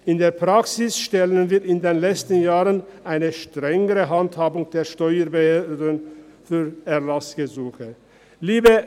In der Praxis stellen wir in den letzten Jahren eine strengere Handhabung der Steuerbehörden für Erlassgesuche fest.